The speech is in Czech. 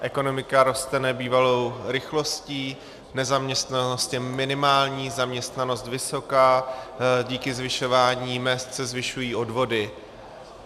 Ekonomika roste nebývalou rychlostí, nezaměstnanost je minimální, zaměstnanost vysoká, díky zvyšování mezd se zvyšují odvody.